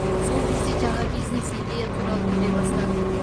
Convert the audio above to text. сол кезде жаңа бизнес идея туралы ойлай бастадым